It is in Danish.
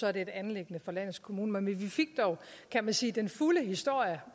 er det et anliggende for landets kommuner men vi fik dog kan man sige den fulde historie